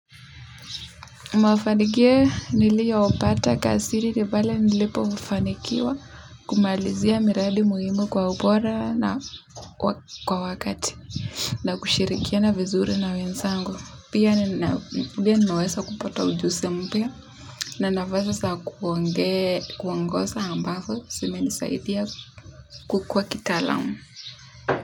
Mafanikio niliyaopata kazini ni pale nilipofanikiwa kumalizia miradi muhimu kwa ubora na kwa wakati na kushirikiana vizuri na wenzangu pia ninaweza pia nawesa kupata ujuzi mpya na nafasi za kuonge kuongosa ambazo zimenisaidia kukua kitaalam.